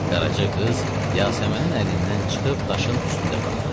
Qaraca qız Yasəmənin əlindən çıxıb daşın üstündə qaldı.